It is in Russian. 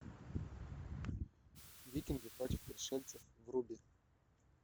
викинги против пришельцев вруби